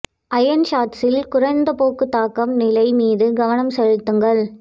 iron ஷாட்ஸில் குறைந்த போக்கு தாக்கம் நிலை மீது கவனம் செலுத்துங்கள்